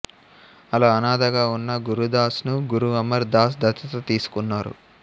అలా అనాథగా ఉన్న గురుదాస్ ను గురు అమర్ దాస్ దత్తత తీసుకున్నారు